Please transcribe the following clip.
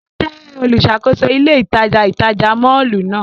O jẹ oluṣakoso ile itaja itaja mọllu nàa.